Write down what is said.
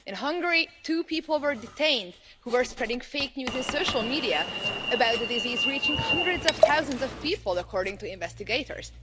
In Hungary, two people were detained who were spreading fake news in social media about a disease reaching hundreds of thousands of people according to investigators.